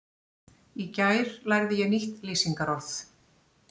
Í gær lærði ég nýtt lýsingarorð.